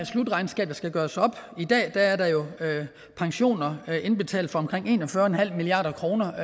slutregnskab der skal gøres op i dag er der jo pensioner indbetalt for omkring en og fyrre milliard kroner